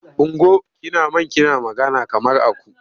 Ungo! Kina man kina magana kamar aku.